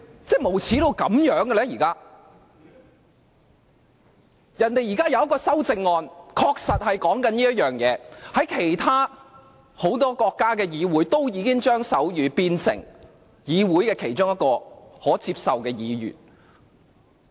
張議員提出的修訂建議之一，正正與此事有關，而很多國家的議會均已把手語定為議會其中一種可接受的語言。